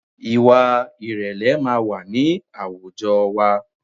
Ìwà ìrẹ̀lẹ̀ máa wà ní àwùjọ wa